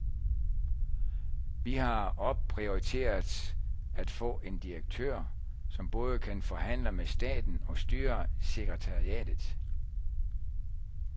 Vi har opprioriteret at få en direktør, som både kan forhandle med staten og styre sekretariatet.